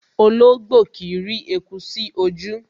Ológbò kìí rí eku sí ojú